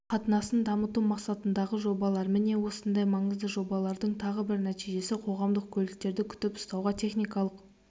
қатынасын дамыту мақсатындағы жобалар міне осындай маңызды жобаларымыздың тағы бір нәтижесі қоғамдық көліктерді күтіп-ұстауға техникалық